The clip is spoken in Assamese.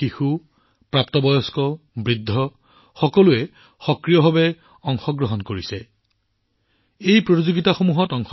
শিশু প্ৰাপ্তবয়স্ক আৰু বৃদ্ধসকলে উৎসাহেৰে অংশগ্ৰহণ কৰিছে আৰু ২০টাতকৈ অধিক ভাষাত প্ৰবিষ্টি প্ৰেৰণ কৰা হৈছে